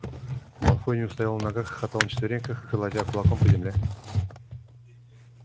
малфой не устоял на ногах и хохотал на четвереньках колотя кулаком по земле